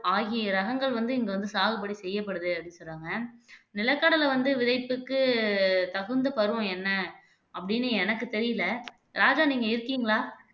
ஆகிய ரகங்கள் வந்து இங்க வந்து சாகுபடி செய்யப்படுது அப்படின்னு சொல்றாங்க நிலக்கடலை வந்து விதைப்புக்கு தகுந்த பருவம் என்ன அப்படின்னு எனக்கு தெரியலே ராஜா நீங்க இருக்கீங்களா